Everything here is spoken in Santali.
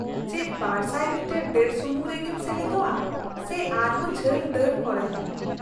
ᱼ ᱪᱮᱫ ᱒᱐᱐ ᱢᱤᱴᱟᱨ ᱫᱟᱹᱲ ᱥᱩᱢᱩᱝ ᱨᱮᱜᱮᱢ ᱥᱮᱞᱮᱫᱚᱜᱼᱟ ᱥᱮ ᱟᱨᱦᱚᱸ ᱡᱷᱟᱹᱞ ᱫᱟᱹᱲ ᱠᱚᱨᱮᱦᱚᱸ ?